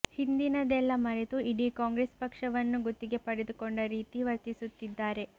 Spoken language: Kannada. ಹಿಂದಿನದೆಲ್ಲ ಮರೆತು ಇಡೀ ಕಾಂಗ್ರೆಸ್ ಪಕ್ಷವನ್ನು ಗುತ್ತಿಗೆ ಪಡೆದುಕೊಂಡ ರೀತಿ ವರ್ತಿಸುತ್ತಿದ್ದಾರೆ